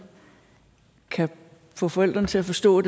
kan få forældrene til at forstå at